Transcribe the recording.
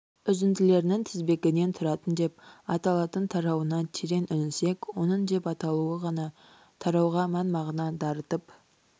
үзінділерінің тізбегінен тұратын деп аталатын тарауына терең үңілсек оның деп аталуы ғана тарауға мән-мағына дарытып